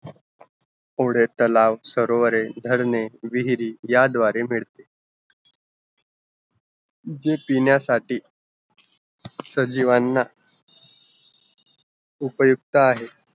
फुडें तलाव, सरोवरे, धरणे, विहिरी या द्वारे भेटतील जे पिण्यासाठी सजीवांना उपयुक्त आहे